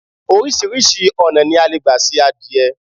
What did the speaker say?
Oríṣiríṣi ọ̀nà ni a le gba se adìẹ